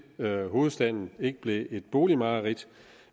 hovedstaden ikke bliver et boligmareridt